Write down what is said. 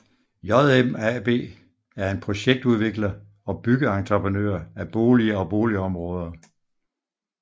JM AB er en projektudvikler og byggeentreprenør af boliger og boligområder